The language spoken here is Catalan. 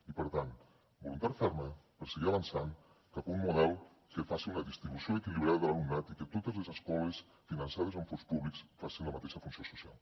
i per tant voluntat ferma per seguir avançant cap a un model que faci una distribució equilibrada de l’alumnat i que totes les escoles finançades amb fons públics facin la mateixa funció social